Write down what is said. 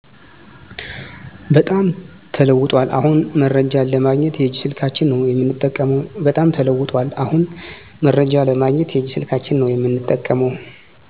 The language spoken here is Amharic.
በጣም ተለውጧል አሁን መረጃን ለማግኘት የእጅ ስልካችን ነው የምንጠቀመው